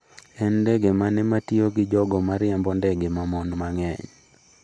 En ndege mane ma tiyo gi jogo ma riembo ndege ma mon mang’eny?